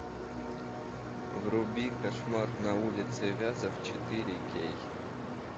вруби кошмар на улице вязов четыре кей